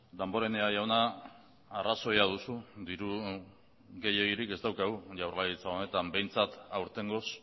damborenea jauna arrazoia duzu diru gehiegirik ez daukagu jaurlaritza honetan behintzat aurtengoz